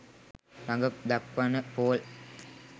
රඟ දක්වන්න පෝල්